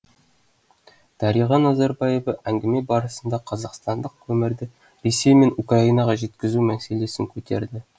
дариға назарбаева әңгіме барысында қазақстандық көмірді ресей мен украинаға жеткізу мәселесін көтерді